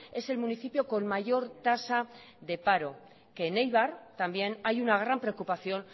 es el municipio con mayor tasa de paro que en eibar también hay una gran preocupación